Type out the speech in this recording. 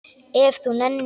Ef þú nennir.